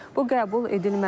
Bu qəbul edilməzdir,